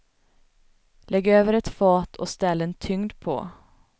Lägg över ett fat och ställ en tyngd på.